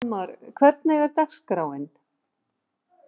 Fróðmar, hvernig er dagskráin?